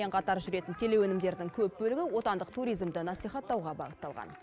қатар жүретін телеөнімдердің көп бөлігі отандық туризмді насихаттауға бағытталған